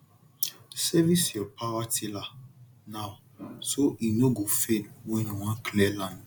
service your power tiller now so e no go fail when you wan clear land